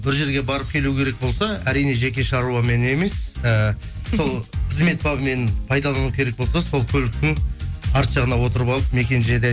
бір жерге барып келу керек болса әрине жеке шаруамен емес ііі сол қызмет бабымен пайдалану керек болса сол көліктің артқы жағына отырып алып мекен жайды